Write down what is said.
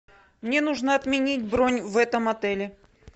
мне нужно отменить бронь в этом отеле